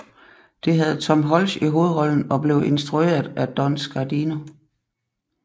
Det havde Tom Hulce i hovedrollen og blev instrueret af Don Scardino